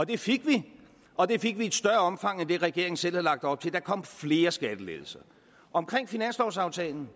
det fik vi og det fik vi i et større omfang end det regeringen selv havde lagt op til der kom flere skattelettelser omkring finanslovsaftalen